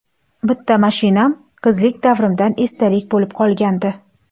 Bitta mashinam qizlik davrimdan esdalik bo‘lib qolgandi.